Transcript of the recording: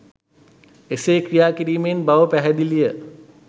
එසේ ක්‍රියා කිරීමෙන් බව පැහැදිලි ය.